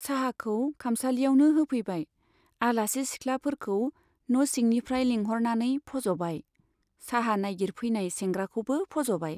चाहाखौ खामसालियावनो होफैबाय, आलासि सिखलाफोरखौ न'सिंनिफ्राय लिंह'रनानै फज' बाय, चाहा नाइगिरफैनाय सेंग्राखौबो फज'फाबाय।